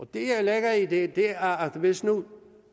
det jeg lægger i det er at hvis nu